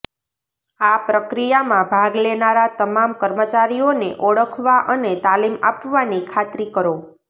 આ પ્રક્રિયામાં ભાગ લેનારા તમામ કર્મચારીઓને ઓળખવા અને તાલીમ આપવાની ખાતરી કરો